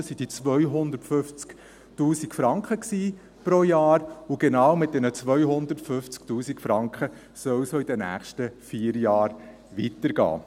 Das waren diese 250 000 Franken pro Jahr, und genau mit diesen 250 000 Franken soll es auch in den nächsten vier Jahren weitergehen.